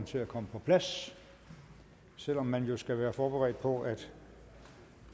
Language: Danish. til at komme på plads selv om man jo skal være forberedt på at